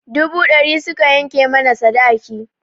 Dubu ɗari suka yanke mana sadaki.